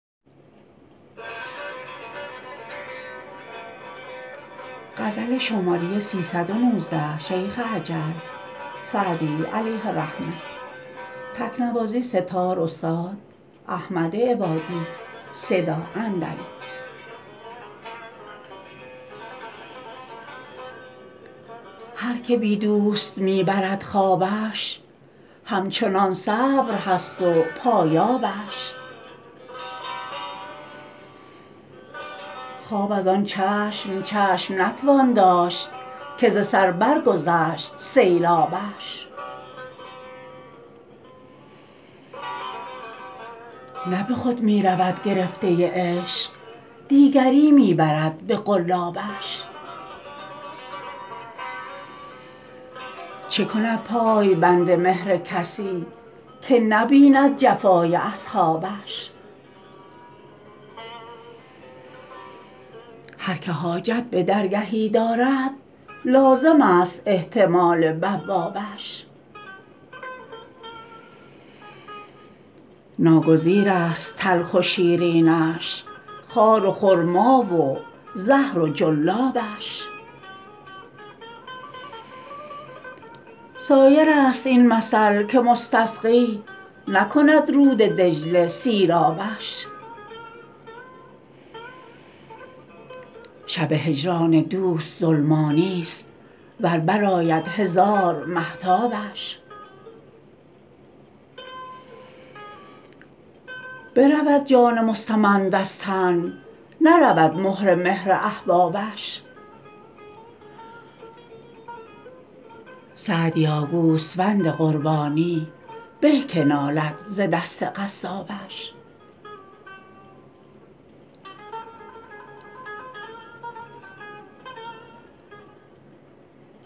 هر که بی دوست می برد خوابش همچنان صبر هست و پایابش خواب از آن چشم چشم نتوان داشت که ز سر برگذشت سیلابش نه به خود می رود گرفته عشق دیگری می برد به قلابش چه کند پای بند مهر کسی که نبیند جفای اصحابش هر که حاجت به درگهی دارد لازمست احتمال بوابش ناگزیرست تلخ و شیرینش خار و خرما و زهر و جلابش سایرست این مثل که مستسقی نکند رود دجله سیرابش شب هجران دوست ظلمانیست ور برآید هزار مهتابش برود جان مستمند از تن نرود مهر مهر احبابش سعدیا گوسفند قربانی به که نالد ز دست قصابش